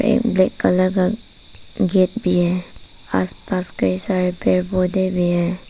एक black colour का gate भी है। आसपास कई सारे पौधे भी है।